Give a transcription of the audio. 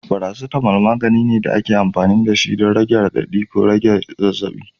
Paracetamol, magani ne da ake amfani da shi don rage radadi da rage zazzabi.